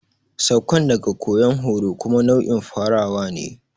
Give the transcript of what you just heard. Saukan daga koyan horo kuma nau'in farawa ne.